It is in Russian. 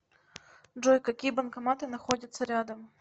джой какие банкоматы находятся рядом